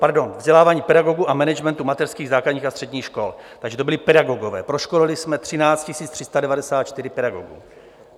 Pardon, vzdělávání pedagogů a managementu mateřských, základních a středních škol, takže to byli pedagogové - proškolili jsme 13 394 pedagogů.